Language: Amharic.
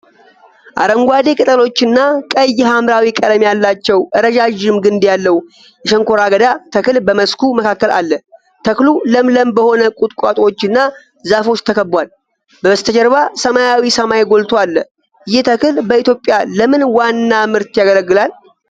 አረንጓዴ ቅጠሎችና ቀይ ሐምራዊ ቀለም ያላቸው ረዣዥም ግንድ ያለው የሸንኮራ አገዳ ተክል በመስኩ መካከል አለ። ተክሉ ለምለም በሆኑ ቁጥቋጦዎች እና ዛፎች ተከቧል። በበስተጀርባ ሰማያዊ ሰማይ ጎልቶ አለ። ይህ ተክል በኢትዮጵያ ለምን ዋና ምርት ያገለግላል?